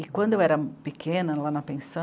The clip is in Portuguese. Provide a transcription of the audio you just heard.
E quando eu era pequena, lá na pensão